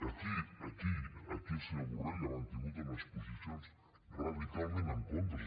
aquí aquí el senyor borrell ha mantingut unes posicions radicalment en contra